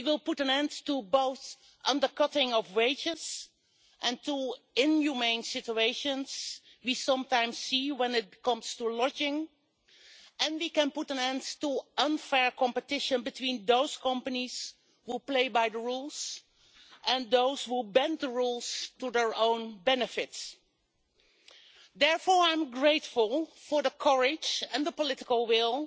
We will put an end to both the undercutting of wages and the inhumane situations we sometimes see when it comes to lodging, and we can put an end to unfair competition between those companies that play by the rules and those who bend the rules to their own benefit. Therefore, I am grateful for the courage and the political will